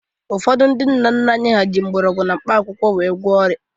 Ụfọdụ ndị nna nna anyị ha jịrị mgbọrọgwụ na mkpa akwụkwọ wee gwụọ ọrịa.